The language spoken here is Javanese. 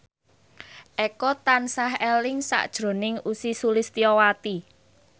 Eko tansah eling sakjroning Ussy Sulistyawati